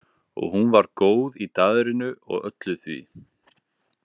Og hún var góð í daðrinu og öllu því.